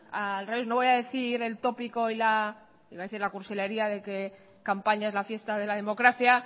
al revés no voy a decir el tópico iba a decir la cursilería de que campaña es la fiesta de la democracia